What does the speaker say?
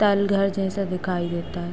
तालघर जैसा दिखाई देता है।